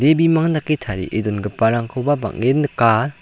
bimang dake tarie dongiparangkoba bang·en nika.